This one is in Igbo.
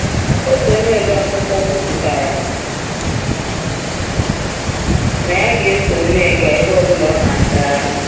Otu onye ode akwụkwọ kwupụtara na ya ga-eso Nneka ebe ọ bụla ọ na-aga.